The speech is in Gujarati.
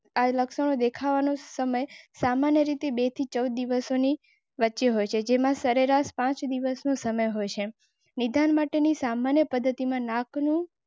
લક્ષણ દેખાવાનો સમય સામાન્ય રીતે બેથી ચાર દિવસોની વચ્ચે હોય છે જેમાં સરેરાશ પાંચ દિવસનો સમય હોય છે. નિદાન માટેની સામાન્ય પદ્ધતિમાં નાખવાનું.